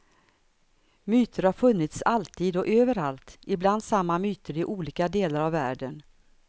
Myter har funnits alltid och överallt, ibland samma myter i olika delar av världen.